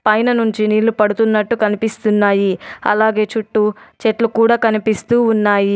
పైన నుంచి నీళ్ళు పడుతున్నట్టు కనిపిస్తున్నాయి అలాగే చుట్టూ చెట్లు కూడా కనిపిస్తూ ఉన్నాయి.